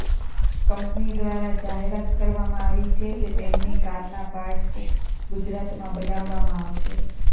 company ઘ્વારા જાહેરાત કરવામાં આવી છે કે તેમની કારના પાર્ટ્સ ગુજરાતમાં બનાવવામાં આવશે